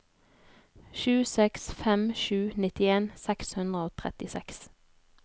sju seks fem sju nittien seks hundre og trettiseks